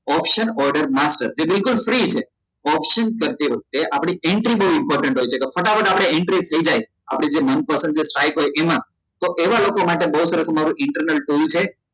option order master જે બિલકુલ free છે option કરતી વખતે આપડી entry બઉ important હોય છે તો ફટાફટ આપડી entry થઇ જાય આપડી જે મન પસંદ જે site હોય એમાં તો એવા લોકો માટે બઉ સરસ મારું internal zone છે